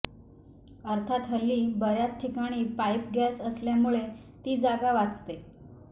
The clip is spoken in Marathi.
अर्थात हल्ली बऱ्याच ठिकाणी पाईप गॅस असल्यामुळे ती जागा वाचते